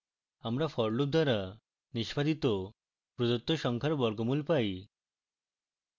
আমরা for loop দ্বারা নিষ্পাদিত প্রদত্ত সংখ্যার বর্গমূল পাই